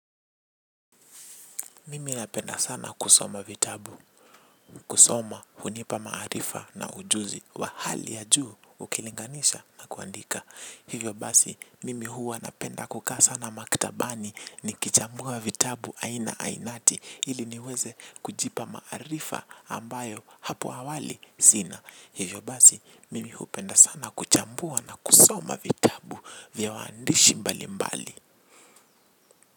Mimi napenda sana kusoma vitabu, kusoma hunipa maarifa na ujuzi wa hali ya juu ukilinganisha na kuandika. Hivyo basi, mimi huwa napenda kukaa sana maktabani ni kichambua vitabu aina ainati ili niweze kujipa maarifa ambayo hapo awali sina. Hivyo basi, mimi hupenda sana kuchambua na kusoma vitabu. Vya waandishi mbalimbali.